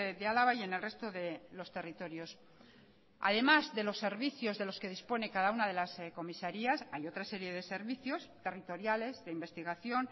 de álava y en el resto de los territorios además de los servicios de los que dispone cada una de las comisarías hay otra serie de servicios territoriales de investigación